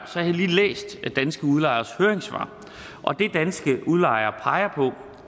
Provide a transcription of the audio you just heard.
har jeg lige læst danske udlejeres høringssvar og det danske udlejere peger på